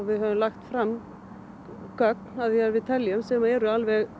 við höfum lagt fram gögn sem eru